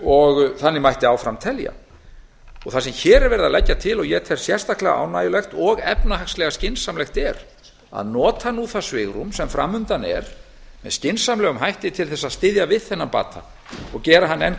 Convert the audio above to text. og þannig mætti áfram telja það sem hér er verið að leggja til og ég tel sérstaklega ánægjulegt og efnahagslega skynsamlegt er að nota nú það svigrúm sem fram undan er með skynsamlegum hætti til að styðja við þennan bata og gera hann enn